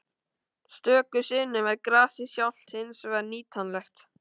Stöku sinnum er gasið sjálft hins vegar nýtanlegt.